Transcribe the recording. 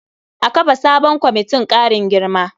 A kafa sabon kwamitin ƙarin girma.